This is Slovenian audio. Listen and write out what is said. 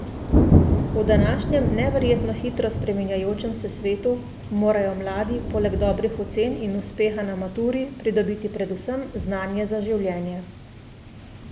V današnjem neverjetno hitro spreminjajočem se svetu morajo mladi poleg dobrih ocen in uspeha na maturi pridobiti predvsem znanje za življenje.